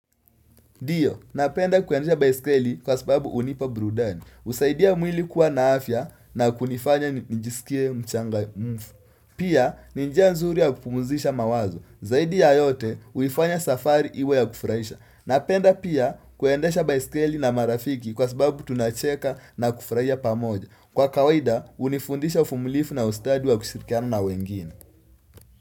Ndio, napenda kuendesha baiskeli kwa sababu unipa burudani. Usaidia mwili kuwa na afya na kunifanya njisikie mchanga mfu. Pia, ninjia nzuri ya kupumuzisha mawazo. Zaidi ya yote, uifanya safari iwe ya kufraisha. Napenda pia kuendesha baiskeli na marafiki kwa sababu tunacheka na kufraisha pa moja. Kwa kawaida, unifundisha ufumlifu na ustadi wa kushirikiana na wengine.